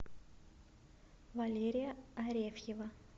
валерия арефьева